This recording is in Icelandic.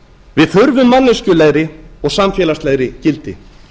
við þurfum manneskjulegri og samfélagslegri gildi